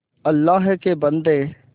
अल्लाह के बन्दे